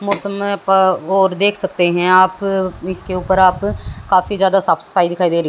मौसम प और देख सकते है आप इसके उपर आप काफी जादा साफ सफाई दिखा रही है।